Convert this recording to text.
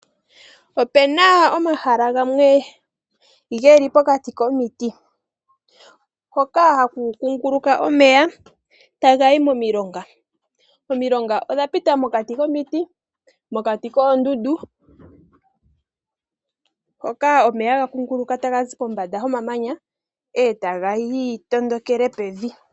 Opuna omahala gamwe geli pokati komiti , hoka haku kunguluka omeya taga yi momilonga . Omilonga odha pita mokati komiti, mokati koondundu, hoka haga kunguluka kombanda yomamanya eta ga tondokele pevi.